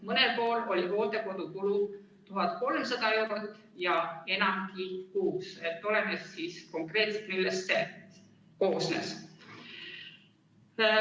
Mõnel pool oli hooldekodukulu 1300 eurot kuus ja enamgi – oleneb, millest konkreetselt see koosnes.